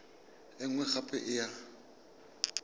e nngwe gape e ya